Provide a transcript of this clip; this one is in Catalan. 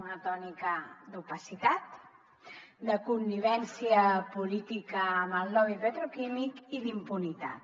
una tònica d’opacitat de connivència política amb el lobby petroquímic i d’impunitat